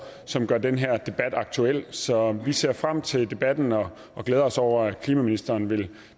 som gør den her debat aktuel så vi ser frem til debatten og glæder os over at klimaministeren vil